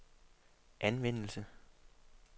anvendelse